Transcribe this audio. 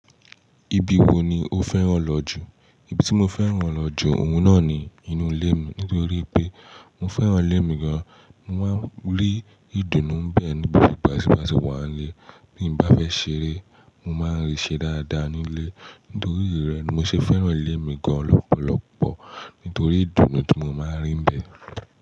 Ibi wo ni o fẹ́ràn lọ jù? Ibi tí mo fẹ́ràn lọ jù, òun náà ni inú ilé mi. Nítorí pé mo fẹ́ràn ilé mi gan. Mo máa ń rí ìdùnnú bẹ́ẹ̀ níbi gbàsè gbàsè wà nílé. Bí mo bá fẹ́ ṣeré, mo máa ń rí i ṣe dáadáa ní ilé. Nítorí ìrí rẹ̀ ni mo ṣe fẹ́ràn ilé mi gan lọ́pọ̀lọpọ̀. Nítorí ìdùnnú tí mo máa ń rí níbẹ̀.